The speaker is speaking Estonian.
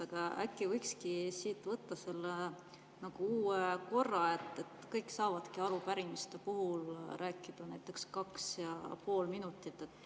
Aga äkki võikski nagu uue korra, et kõik saavadki arupärimiste puhul rääkida näiteks kaks ja pool minutit?